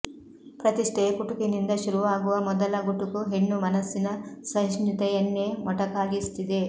ಪ್ರತಿಷ್ಠೆಯ ಕುಟುಕಿನಿಂದ ಶುರುವಾಗುವ ಮೊದಲ ಗುಟುಕು ಹೆಣ್ಣು ಮನಸ್ಸಿನ ಸಹಿಷ್ಣುತೆಯನ್ನೇ ಮೊಟಕಾಗಿಸುತ್ತಿದೆ